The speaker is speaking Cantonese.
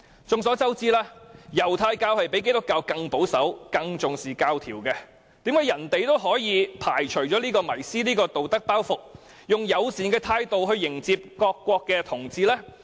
眾所周知，猶太教較基督教更保守、更重視規條，為甚麼他們也可以排除這道德包袱，以友善的態度來迎接各國的同志？